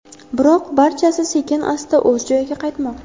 Biroq barchasi sekin-asta o‘z joyiga qaytmoqda.